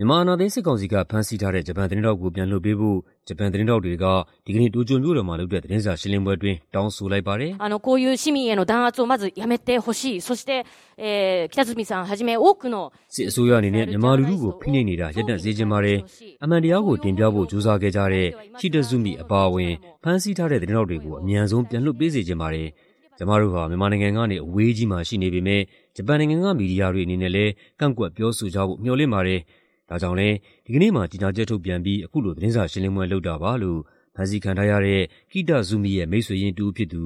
မြန်မာ အာဏာသိမ်းစစ်ကောင်စီက ဖမ်းဆီးထားတဲ့ ဂျပန်သတင်းထောက်ကို ပြန်လွှတ်ပေးဖို့ ဂျပန်သတင်းထောက်တွေက ဒီကနေ့ တိုကျိုမြို့တော်မှာ လုပ်တဲ့ သတင်းစာရှင်းလင်းပွဲအတွင်း တောင်းဆိုလိုက်ပါတယ်။ "စစ်အစိုးရအနေနဲ့ မြန်မာလူထုကို ဖိနှိပ်နေတာ ရပ်တန့်စေချင်ပါတယ်။ အမှန်တရားကိုတင်ပြဖို့ ကြိုးစားခဲ့ကြတဲ့ Kitazumi အပါအဝင် ဖမ်းဆီးထားတဲ့ သတင်းထောက်တွေကို အမြန်ဆုံး ပြန်လွှတ်ပေးစေချင်ပါတယ်။ ကျမတို့ဟာ မြန်မာနိုင်ငံကနေ အဝေးကြီးမှာ ရှိနေပေမဲ့ ဂျပန်နိုင်ငံက မီဒီယာတွေအနေနဲ့လည်း ကန့်ကွက်ပြောဆိုကြဖို့ မေ ျှာ်လင့်ပါတယ်။ ဒါကြောင့်လည်း ဒီကနေ့မှာ ကြေညာချက်ထုတ်ပြန်ပြီး အခုလို သတင်းစာရှင်းလင်းပွဲလုပ်တာပါ။" လို့ ဖမ်းဆီးခံထားရတဲ့ Kitazumi ရဲ့ မိတ်ဆွေရင်းတစ်ဦးဖြစ်သူ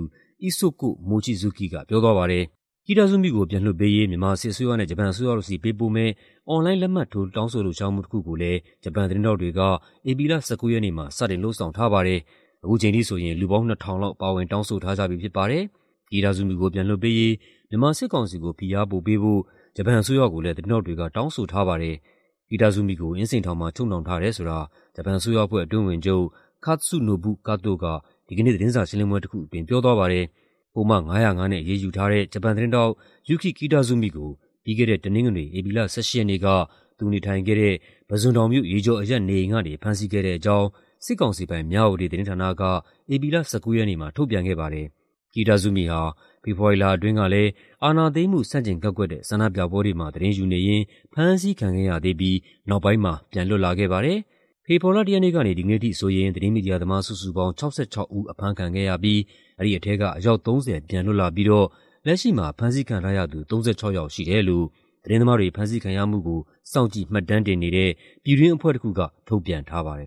Isoko Mochizuki က ပြောသွားပါတယ်။ Kitazumi ကို ပြန်လွှတ်ပေးရေး မြန်မာစစ်အစိုးရနဲ့ ဂျပန်အစိုးရတို့ဆီ ပေးပို့မယ့် အွန်လိုင်း လက်မှတ်ထိုး တောင်းဆိုလှုပ်ရှားမှု တစ်ခုကိုလည်း ဂျပန်သတင်းထောက်တွေက ဧပြီလ ၁၉ ရက်နေ့မှာ စတင်လုပ်ဆောင်ထားပါတယ်။ အခုချိန်ထိဆိုရင် လူပေါင်း ၂,၀၀၀ လောက် ပါဝင် တောင်းဆိုထားကြပြီဖြစ်ပါတယ်။ Kitazumi ကို ပြန်လွှတ်ပေးရေး မြန်မာစစ်ကောင်စီကို ဖိအားပိုပေးဖို့ ဂျပန်အစိုးရကိုလည်း သတင်းထောက်တွေက တောင်းဆိုထားပါတယ်။ Kitazumi ကို အင်းစိန်ထောင်မှာ ချုပ်နှောင်ထားတယ်ဆိုတာ ဂျပန်အစိုးရအဖွဲ့ အတွင်းဝန်ချုပ် Katsunobu Kato က ဒီကနေ့ သတင်းစာရှင်းလင်းပွဲတစ်ခုအတွင်း ပြောသွားပါတယ်။ ပုဒ်မ ၅၀၅ နဲ့ အရေးယူထားတဲ့ ဂျပန်သတင်းထောက် Yuki Kitazumi ကို ပြီးခဲ့တဲ့ တနင်္ဂနွေ၊ ဧပြီလ ၁၈ ရက်နေ့က သူနေထိုင်ခဲ့ဲတဲ့ ပုဇွန်တောင်မြို့၊ ရေကျော်အရပ်နေအိမ်ကနေ ဖမ်းဆီးခဲ့တဲ့အကြောင်း စစ်ကောင်စီပိုင် မြဝတီသတင်းဌာနက ဧပြီလ ၁၉ ရက်နေ့မှာ ထုတ်ပြန်ခဲ့ပါတယ်။ Kitazumi ဟာ ဖေဖော်ဝါရီလအတွင်းက အာဏာသိမ်းမှု ဆန့်ကျင်ကန့်ကွက်တဲ့ ဆန္ဒပြပွဲတွေမှာ သတင်းယူနေရင်း ဖမ်းဆီးခံခဲ့ရသေးပြီး နောက်ပိုင်းမှာ ပြန်လွတ်လာခဲ့ပါတယ်။ ဖေဖော်ဝါရီလ ၁ ရက်နေ့ကနေ ဒီကနေ့အထိဆိုရင် သတင်းမီဒီယာသမား စုစုပေါင်း ၆၆ ဦး အဖမ်းခံခဲ့ရပြီး အဲဒီထဲက အယောက် ၃၀ ပြန်လွတ်လာပြီးတော့ လက်ရှိမှာ ဖမ်းဆီးခံထားရသူ ၃၆ ယောက်ရှိတယ်လို့ သတင်းသမားတွေ ဖမ်းဆီးခံရမှုကို စောင့်ကြည့်မှတ်တမ်းတင်နေတဲ့ ပြည်တွင်းအဖွဲ့တစ်ခုက ထုတ်ပြန်ထားပါတယ်